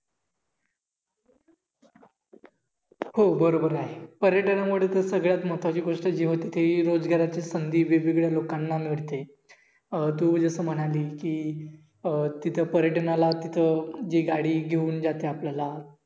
हो बरोबर आहे पर्यटनामुळे सगळ्यात महत्वाची जी गोष्ट होते ती रोजगाराची संधी वेगवेगळ्या लोकांना मिळते अं तू जस म्हणाली कि अं तिथं पर्यटनाला तिथं जी गाडी घेऊन जाते आपल्याला